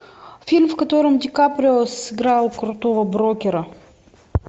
фильм в котором ди каприо сыграл крутого брокера